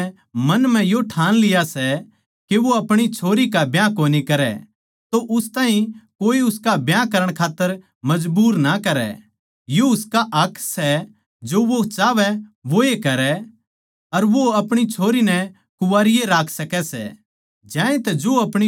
पर जिस पिता नै मन म्ह यो ठान लिया सै के वो आपणी छोरी का ब्याह कोनी करै अर उस ताहीं कोए उसका ब्याह करण खात्तर मजबूर ना करै तो यो उसका हक सै जो वो चाहवै वोए करै अर वो अपणी छोरी नै कुवारी ए राक्ख सकै सै